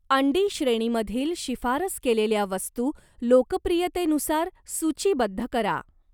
अंडी श्रेणीमधील शिफारस केलेल्या वस्तू लोकप्रियतेनुसार सूचीबद्ध करा.